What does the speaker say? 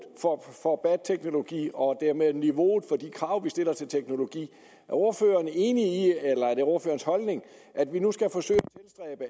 for bat teknologi og dermed niveauet for de krav vi stiller til teknologi er ordføreren enig i eller er det ordførerens holdning at vi nu skal forsøge